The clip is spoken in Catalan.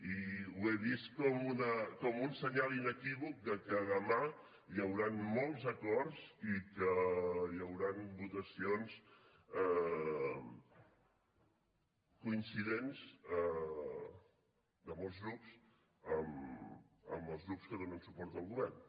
i ho he vist com un senyal inequívoc que demà hi hauran molts acords i que hi hauran votacions coincidents de molts grups amb els grups que donen suport al govern